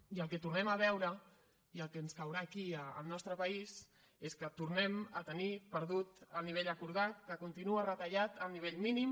i el que tornem a veure i el que ens caurà aquí al nostre país és que tornem a tenir perdut el nivell acordat que continua retallat al nivell mínim